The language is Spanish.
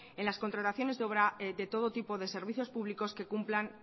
en las contrataciones de obra de todo tipo de servicios públicos